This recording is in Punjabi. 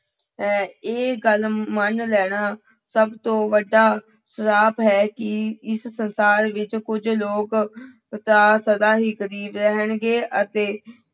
ਹੈ, ਇਹ ਗੱਲ ਮੰਨ ਲੈਣਾ ਸਭ ਤੋਂ ਵੱਡਾ ਸਰਾਪ ਹੈ ਕਿ ਇਸ ਸੰਸਾਰ ਵਿੱਚ ਕੁੱਝ ਲੋਕ ਸਦਾ ਹੀ ਗ਼ਰੀਬ ਰਹਿਣਗੇੇ ਅਤੇ